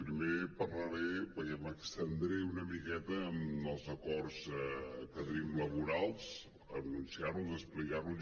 primer parlaré perquè m’estendré una miqueta en els acord que tenim laborals enunciar·los explicar·los